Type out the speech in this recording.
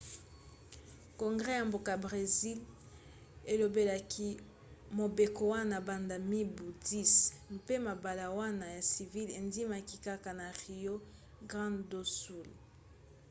congres ya mboka bresil elobelaki mobeko wana banda mibu 10 mpe mabala wana ya civil endimaki kaka na rio grande do sul